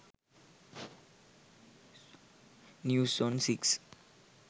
news on 6